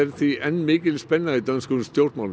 því enn mikil spenna í dönskum stjórnmálum